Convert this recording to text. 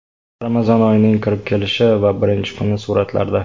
Ramazon oyining kirib kelishi va birinchi kuni suratlarda.